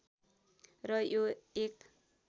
र यो एक